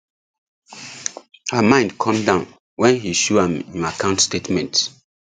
her mind come down when he show am im account statements